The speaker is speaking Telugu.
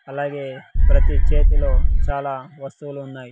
అలాగే ప్రతి చేతిలో చాలా వస్తువులు ఉన్నాయి.